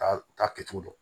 Taa kɛcogo dɔn